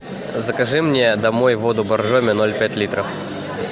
закажи мне домой воду боржоми ноль пять литров